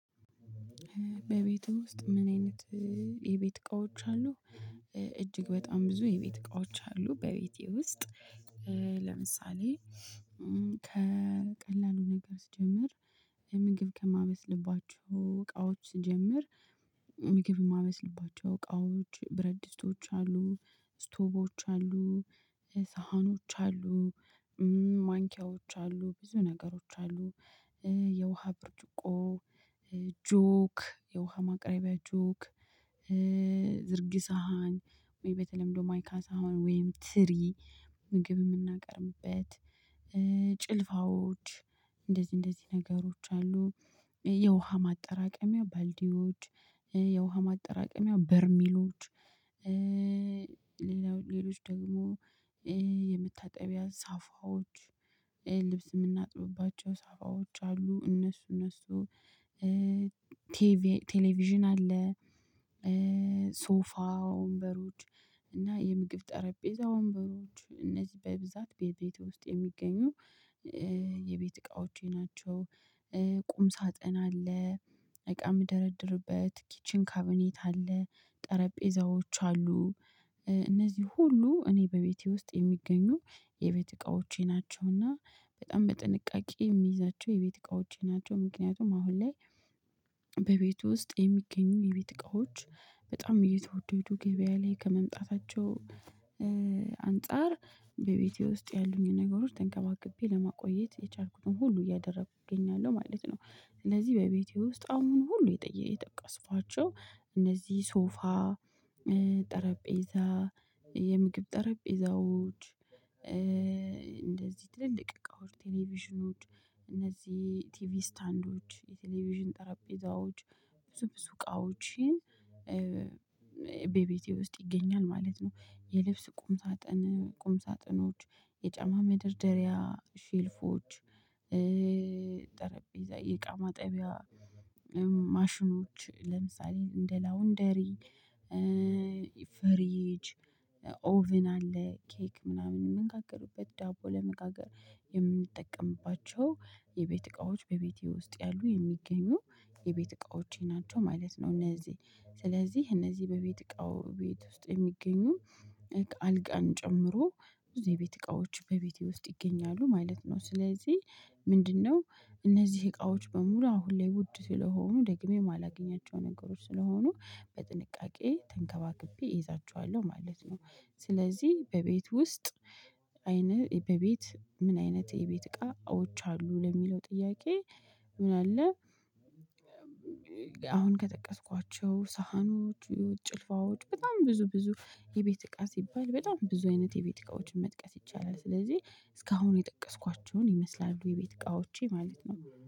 በቤትህ ውስጥ ምን አይነት የቤት እቃዎች አሉ? እጅግ በጣም ብዙ የቤት እቃዎች አሉ በቤቴ ውስጥ። ለምሳሌ ከቀላሉ ነገር ስጀምር። ምግብ ከማበስልባቸው እቃዎች ስጀምር ምግብ እማበስልባቸው እቃዎች ብረድስቶች አሉ ስቶቮች አሉ ሳህኖች አሉ ማንኪያዎች አሉ ብዙ ነገሮች አሉ። የውሃ ብርጭቆ ጆክ የውሃ ማቅረቢያ ጆክ። ዝርግ ሳሀን ወይ በተለምዶ ማይካ ሳሀን ወይም ትሪ ምግብ እምናቀርብበት ጭልፋዎች እንደዚህ እንደዚህ ነገሮች አሉ። የውሃ ማጠራቀሚያ ባልዲዎች የውሃ ማጠራቀሚያ በርሜሎች። ሌላዎ ሌሎች ደግሞ የመታጠቢያ ሳፋዎች ልብስ እምናጥብባቸው ሳፋዎች አሉ። እነሱ እነሱ ቴሌቪዥን አለ። ሶፋ ወንበሮች እና የምግብ ጠረጴዛ ወንበሮች እነዚህ በብዛት በቤት ውስጥ የሚገኙ የቤት እቃዎቼ ናቸው። ቁም ሳጥን አለ። እቃ ምደረድርበት ኪችን ካቢኔት አለ ጠረጴዛዎች አሉ። እነዚህ ሁሉ እኔ በቤቴ ውስጥ የሚገኙ የቤት እቃዎቼ ናቸው። እና በጣም በጥንቃቄ እሚይዛቸው የቤት እቃዎቼ ናቸው። ምክንያቱም አሁን ላይ በቤት ውስጥ የሚገኙ የቤት እቃዎች በጣም እየተወደዱ ገበያ ላይ ከመምጣታቸው አንፃር በቤቴ ውስጥ ያሉኝን ነገሮች ተንከባክቤ ለማቆየት የቻልኩትን ሁሉ እያደረኩ እገኛለሁ ማለት ነው። ስለዚህ በቤቴ ውስጥ አሁን ሁሉ የጠየ የጠቀስኳቸው እነዚህ ሶፋ ጠረጴዛ የምግብ ጠረጴዛዎች እንደዚህ ትልልቅ እቃዎች ቴሌቪዥኖች እነዚህ ቲቪ ስታንዶች የቴሌቪዥን ጠራጴዛዎች ብዙ ብዙ እቃዎችን በቤቴ ውስጥ ይገኛል ማለት ነው። የልብስ ቁም ሳጥን ቁም ሳጥኖች የጫማ መደርደሪያ ሼልፎች። ጠረጴዛ የእቃ ማጠቢያ ማሽኖች ለምሳሌ እንደ ላውንደሪ ፍሪጅ ኦቨን አለ። ኬክ ምናምን ምንጋግርበት ዳቦ ለመጋገር የምንጠቀምባቸው የቤት እቃዎች በቤቴ ውስጥ ያሉ የሚገኙ የቤት እቃዎቼ ናቸው ማለት ነው። እነዚህ ስለዚህ እነዚህ በቤት እቃው ቤት ውስጥ የሚገኙ አልጋን ጨምሮ ብዙ የቤት እቃዎች በቤቴ ውስጥ ይገኛሉ ማለት ነው። ስለዚህ ምንድነው? እነዚህ እቃዎች በሙሉ አሁን ላይ ውድ ስለሆኑ ደግሜ እማላገኛቸው ነገሮች ስለሆኑ በጥንቃቄ ተንከባክቤ እይዛችኋለሁ ማለት ነው። ስለዚህ በቤት ውስጥ አይንህ በቤት ምን አይነት የቤት እቃዎች አሉ ለሚለው ጥያቄ ምን አለ? አሁን ከጠቀስኳቸው ሳህኖች ጭልፋዎች በጣም ብዙ ብዙ የቤት እቃ ሲባል በጣም ብዙ አይነት የቤት እቃዎችን መጥቀስ ይቻላል። ስለዚህ እስካሁን የጠቀስኳቸውን ይመስላሉ የቤት እቃዎቼ ማለት ነው